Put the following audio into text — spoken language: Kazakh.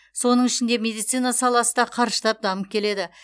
соның ішінде медицина саласы да қарыштап дамып келеді